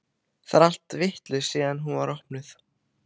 Það er allt vitlaust síðan hún var opnuð.